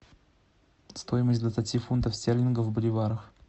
стоимость двадцати фунтов стерлингов в боливарах